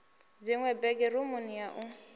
dziṅwe bege rumuni ya u